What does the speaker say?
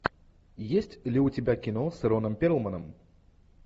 есть ли у тебя кино с роном перлманом